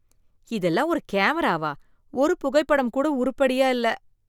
இதெல்லாம் ஒரு கேமராவா? ஒரு புகைப்படம் கூட உறுப்படியா இல்ல.